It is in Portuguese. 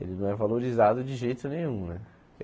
Ele não é valorizado de jeito nenhum mano.